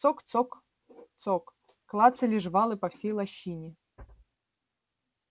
цок цок цок клацали жвалы по всей лощине